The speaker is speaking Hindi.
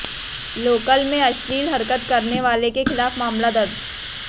लोकल में अश्लील हरकत करने वाले के खिलाफ मामला दर्ज